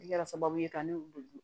Ne kɛra sababu ye ka ne weele